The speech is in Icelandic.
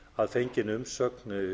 að fenginni umsögn